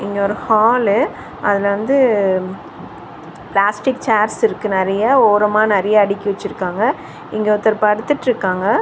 இங்க ஒரு ஹாலு . அதுல வந்து பிளாஸ்டிக் சேர்ஸ் இருக்கு நறைய. ஓரமா நறைய அடுக்கி வச்சிருக்காங்க. இங்க ஒருத்தர் படுத்துட்டுருக்காங்க.